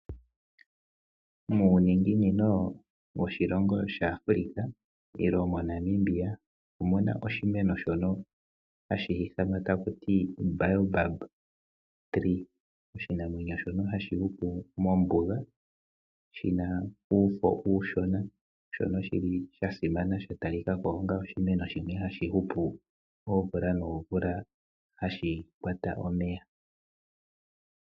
Muuninginino woshilongo Namibia omu na oshimeni shoka hashi ithanwa kutya omukwa. Oshimeno shoka hashi hupu mombuga, shi na uufo uushona sho osha simana. Osha ta lika ko onga oshimeno hashi hupu oomvula noomvula noshi na ekota hali pungula omeya.